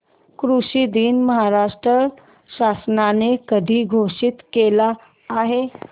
कृषि दिन महाराष्ट्र शासनाने कधी घोषित केला आहे